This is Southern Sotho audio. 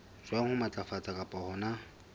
jwang ho matlafatsa kapa hona